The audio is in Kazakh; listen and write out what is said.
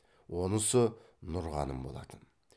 онысы нұрғаным болатын